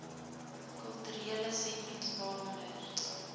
kulturele sentrums waaronder